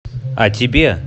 а тебе